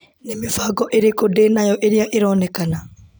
Nĩ mĩbango ĩrĩkũ ndĩ nayo ĩrĩa ĩronekana